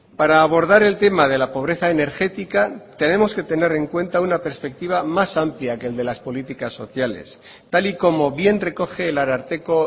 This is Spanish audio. para abordar el tema de la pobreza energética tenemos que tener en cuenta una perspectiva más amplia que el de las políticas sociales tal y como bien recoge el ararteko